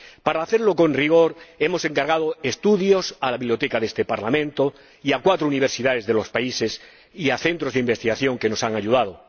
Para hacerlo con rigor hemos encargado estudios a la Biblioteca de este Parlamento, a universidades de esos cuatro países y a centros de investigación que nos han ayudado.